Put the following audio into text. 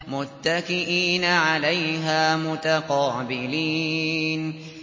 مُّتَّكِئِينَ عَلَيْهَا مُتَقَابِلِينَ